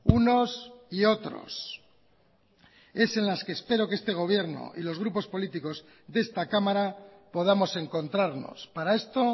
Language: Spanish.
unos y otros es en las que espero que este gobierno y los grupos políticos de esta cámara podamos encontrarnos para esto